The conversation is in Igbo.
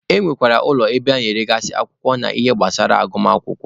E nwere ụlọ ebe a na-eregasị akwụkwọ na ihe gbasara agụmakwụkwọ.